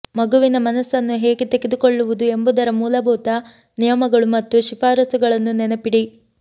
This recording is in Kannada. ಮಗುವಿನ ಮನಸ್ಸನ್ನು ಹೇಗೆ ತೆಗೆದುಕೊಳ್ಳುವುದು ಎಂಬುದರ ಮೂಲಭೂತ ನಿಯಮಗಳು ಮತ್ತು ಶಿಫಾರಸುಗಳನ್ನು ನೆನಪಿಡಿ